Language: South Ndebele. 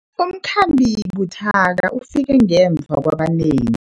Umkhambi buthaka ufike ngemva kwabanengi.